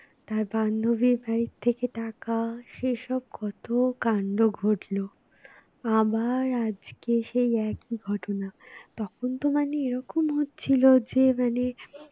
তার বান্ধবীর বাড়ি থেকে টাকা সেসব কত কান্ড ঘটলো আবার আজকে সেই একই ঘটনা, তখন তো মানে এরকম হচ্ছিল যে মানে